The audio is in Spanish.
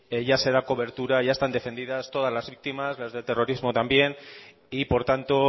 ya se da cobertura ya están defendidas todas las víctimas las del terrorismo también y por tanto